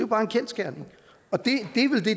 bare en kendsgerning og det